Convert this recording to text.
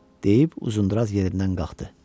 Deyib Uzundraz yerindən qalxdı.